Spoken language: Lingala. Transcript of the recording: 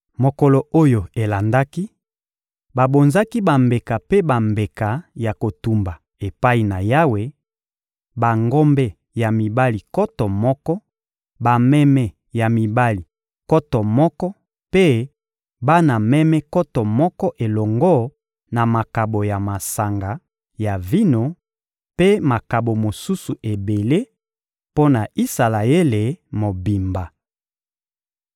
Mokolo oyo elandaki, babonzaki bambeka mpe bambeka ya kotumba epai na Yawe: bangombe ya mibali nkoto moko, bameme ya mibali nkoto moko mpe bana meme nkoto moko elongo na makabo ya masanga ya vino mpe makabo mosusu ebele, mpo na Isalaele mobimba.